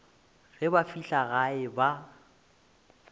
ge ba fihla gae ba